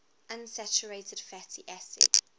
unsaturated fatty acids